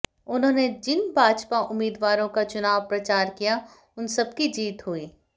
उन्होंने जिन भाजपा उम्मीदवारों का चुनाव प्रचार किया उन सबकी जीत हुई